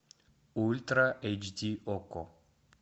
ультра эйч ди окко